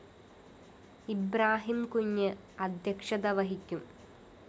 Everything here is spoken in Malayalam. ഇബ്രാഹിം കുഞ്ഞ് അധ്യക്ഷത വഹിക്കും